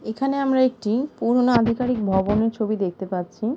এখানে আমরা একটি পুরোনো আধিকারিক ভবনের ছবি দেখতে পাচ্ছি।